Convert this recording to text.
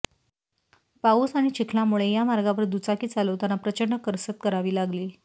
पाऊस आणि चिखलामुळे या मार्गावर दुचाकी चालवताना प्रचंड करसत करावी लागली